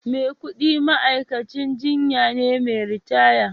Maikudi ma'aikacin jinya ne mai ritaya